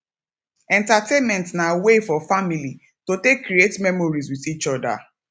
entertainment na way for family to take create memories with each oda